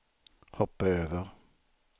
hoppa över